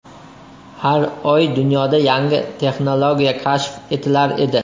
Har oy dunyoda yangi texnologiya kashf etilar edi.